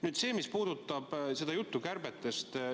Nüüd sellest, mis puudutab kärpeid.